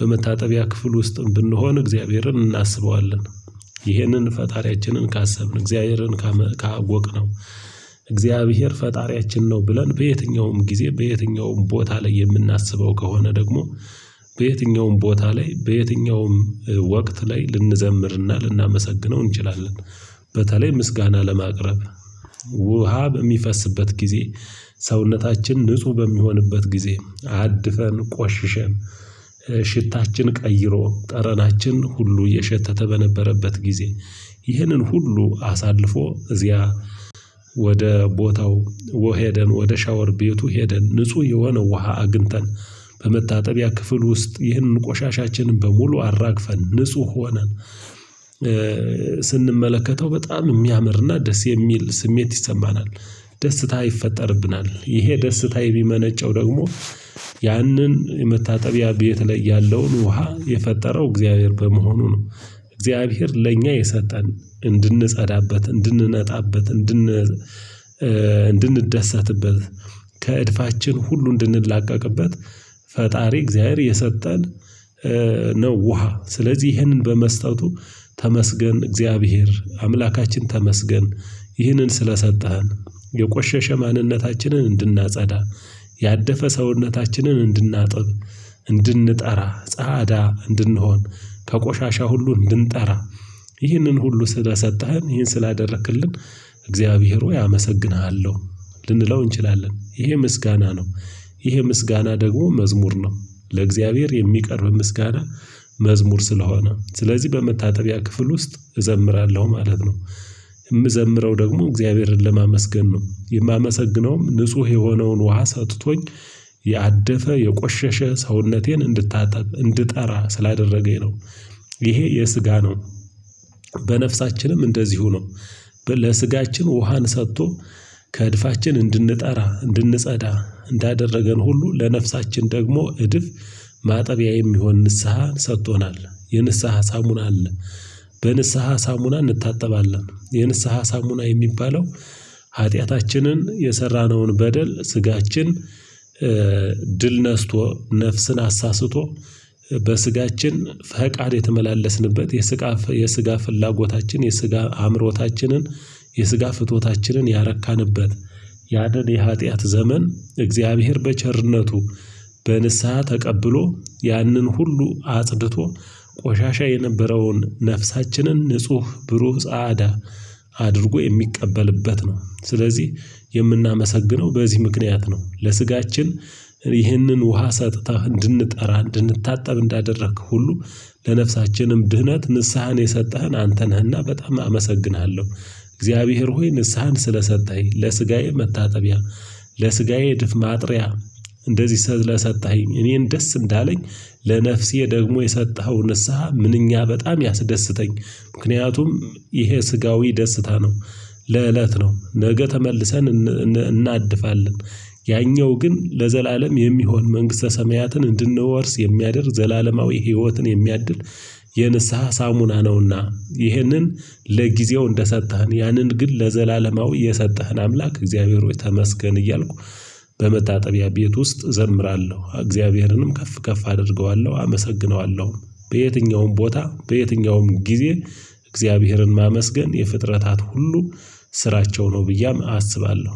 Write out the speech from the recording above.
በመታጠቢያ ክፍል ውስጥም ብንሆን እግዚአብሔርን እናስበዋለን። ይህንን ፈጣሪያችንን ካሰብን እግዚአብሔርን ካወቅነው እግዚአብሔር ፈጣሪያችን ነው ብለን በየትኛውም ጊዜ በየትኛውም ቦታ ላይ የምናስበው ከሆነ ደግሞ። በየትኛውም ቦታ ላይ በየትኛውም ወቅት ላይ ልንዘምርና ልናመሰግነው እንችላለን። በተለይ ምስጋና ለማቅረብ። ውሃ በሚፈስበት ጊዜ ሰውነታችን ንጹህ በሚሆንበት ጊዜ አድፈን ቆሽሸን ሽታችን ቀይሮ ጠረናችን ሁሉ የሸተተ በነበረበት ጊዜ ይህንን ሁሉ አሳልፎ እዚያ። ወደ ቦታው ወሄደን ወደ ሻወር ቤቱ ሄደን ንጹህ የሆነ ውሃ አግተን በመታጠቢያ ክፍል ውስጥ ይህንን ቆሻሻችንን በሙሉ አራግፈን ንጹህ ሆነን። ስንመለከተው በጣም የሚያምርና ደስ የሚል ስሜት ይሰማናል። ደስታ ይፈጠርብናል ይሄ ደስታ የሚመነጨው ደግሞ ያንን የመታጠቢያ ቤት ላይ ያለውን ውሃ የፈጠረው እግዚአብሔር በመሆኑ ነው። እግዚአብሔር ለእኛ የሰጠን እንድንጸዳበት እንድንነጣበት እንድን እንድንደሰትበት ከእድፋችን ሁሉ እንድንላቀቅበት። ፈጣሪ እግዚአብሔር የሰጠን ነው ውሃ ስለዚህ ይህንን በመስጠቱ ተመስገን እግዚአብሔር አምላካችን ተመስገን። ይህንን ስለሰጠህን የቆሸሸ ማንነታችንን እንድናጸዳ ያደፈ ሰውነታችንን እንድናጥብ እንድንጠራ ጻዳ እንድንሆን ከቆሻሻ ሁሉ እንድንጠራ ይህንን ሁሉ ስለሰጠህን ይህን ስላደረክልን እግዚአብሔር ሆይ አመሰግንሃለሁ። ልንለው እንችላለን ይሄ ምስጋና ነው። ይሄ ምስጋና ደግሞ መዝሙር ነው ለእግዚአብሔር የሚቀርብ ምስጋና። መዝሙር ስለሆነ ስለዚህ በመታጠቢያ ክፍል ውስጥ እዘምራለሁ ማለት ነው። የምዘምረው ደግሞ እግዚአብሔርን ለማመስገን ነው የማመሰግነውም ንጹህ የሆነውን ውሃ ሰጥቶኝ ያደፈ የቆሸሸ ሰውነቴን እንድታጠብ እንድጠራ ስላደረገኝ ነው። ይሄ የስጋ ነው። በነፍሳችንም እንደዚሁ ነው። ለስጋችን ውሃን ሰጥቶ ከእድፋችን እንድንጠራ እንድንጸዳ እንዳደረገን ሁሉ ለነፍሳችን ደግሞ እድፍ ማጠቢያ የሚሆን ንስሐን ሰጥቶናል የንስሐ ሳሙና አለ። በንስሐ ሳሙና እንታጠባለን የንስሐ ሳሙና የሚባለው። ኃጢአታችንን የሰራነውን በደል ስጋችን ድል ነስቶ ነፍስን አሳስቶ በስጋችን ፈቃድ የተመላለስንበት የስጋ የስጋ ፍላጎታችን የስጋ አእምሮታችንን የስጋ ፍትወታችንን ያረካንበት። ያንን የሀጥያት ዘመን እግዚአብሔር በቸርነቱ በንስሃ ተቀብሎ ያንን ሁሉ አጽድቶ ቆሻሻ የነበረውን ነፍሳችንን ንጹህ ብሩህ ጻዳ። አድርጎ የሚቀበልበት ነው ስለዚህ የምናመሰግነው በዚህ ምክንያት ነው። ለስጋችን ይህንን ውሃ ሰጥታህ እንድንጠራ እንድንታጠብ እንዳደረክ ሁሉ ለነፍሳችንም ድህነት ንስሃን የሰጠህን አንተ ነህና በጣም አመሰግንሃለሁ። እግዚአብሔር ሆይ ንስሃን ስለሰጠህኝ ለስጋዬ መታጠቢያ ለስጋዬ ድፍ ማጥሪያ። እንደዚህ ሰጥተህኝ እኔን ደስ እንዳለኝ ለነፍሴ ደግሞ የሰጠኸው ንስሃ ምንኛ በጣም ያስደስተኝ። ምክንያቱም ይሄ ስጋዊ ደስታ ነው። ለእለት ነው ነገ ተመልሰን እናድፋለን ያኛው ግን ለዘላለም የሚሆን መንግስተ ሰማያትን እንድንወርስ የሚያደርግ ዘላለማዊ ህይወትን የሚያድል። የንስሃ ሳሙና ነውና ይህንን ለጊዜው እንደሰጠህን ያንን ግን ለዘላለማዊ የሰጠህን አምላክ እግዚአብሔር ሆይ ተመስገን። እያልኩ በመታጠቢያ ቤት ውስጥ እዘምራለሁ እግዚአብሔርንም ከፍ ከፍ አደርገዋለሁ አመሰግነዋለሁም። በየትኛውም ቦታ በየትኛውም ጊዜ እግዚአብሔርን ማመስገን የፍጥረታት ሁሉ ስራቸው ነው ብዬ አስባለሁ።